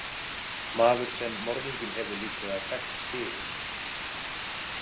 Maður sem morðinginn hefur líklega þekkt fyrir.